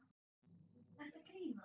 Ertu að grínast?